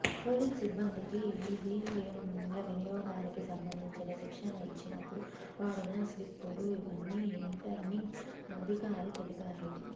polling సిబ్బందికి ఈవీఎంల వినియోగానికి సంబంధించిన శిక్షణ ఇచ్చినప్పుడు వాడిన స్లిప్పులు ఇవని రిటర్నింగ్ అధికారి తెలిపారు